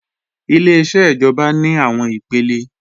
Ileṣẹ́ ìjọba ní àwọn ipele